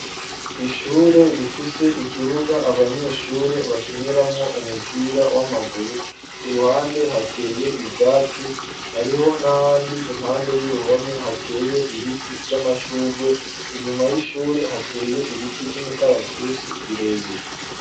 Ishure rifise ikibuga abanyeshure bakiniramwo umupira w'amaguru ,ku ruhande hateye ivyatsi, hariho n'ahandi impande y'uruhome hateye ibiti vy'amashugwe, inyuma y'ishure hateye ibiti vy'imikaratusi birebire.